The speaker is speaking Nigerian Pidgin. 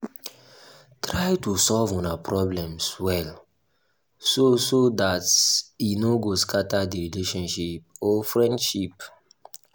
try to solve una problems well so so dat e no go scatter di relationship or friendship